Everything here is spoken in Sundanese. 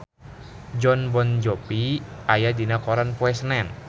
Jon Bon Jovi aya dina koran poe Senen